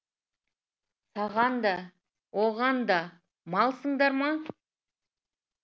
саған да оған да малсыңдарма